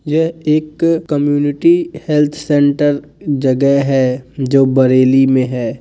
यह एक community health centre जगह है जो बरेली में है।